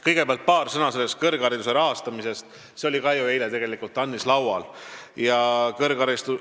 Kõigepealt paar sõna kõrghariduse rahastamisest, mis oli ju eile ka TAN-is arutelul.